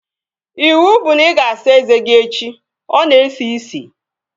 Ịwụ bụ na ị ga-asa eze gị echi! Ọ na-esi ísì